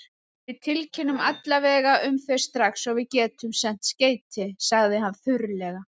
Við tilkynnum alla vega um þau strax og við getum sent skeyti, sagði hann þurrlega.